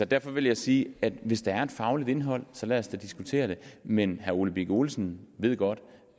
derfor vil jeg sige at hvis der er et fagligt indhold så lad os da diskutere det men herre ole birk olesen ved godt